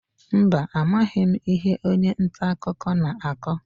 Mba, amaghị m ihe onye nta akụkọ na-akọ.